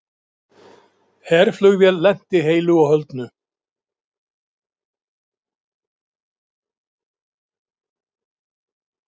Herflugvél lenti heilu og höldnu